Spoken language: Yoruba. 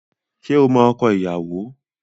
Ṣé o mọ ọkọ ìyàwó?